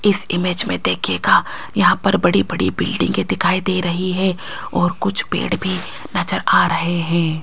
इस इमेज में देखिएगा यहां पर बड़ी-बड़ी बिल्डिंगे दिखाई दे रही है और कुछ पेड़ भी नजर आ रहे है।